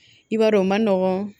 I b'a dɔn o ma nɔgɔn